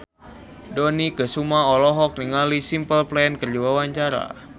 Dony Kesuma olohok ningali Simple Plan keur diwawancara